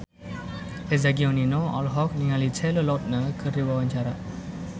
Eza Gionino olohok ningali Taylor Lautner keur diwawancara